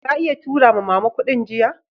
Ka iya tura ma'mama na kudin jiya?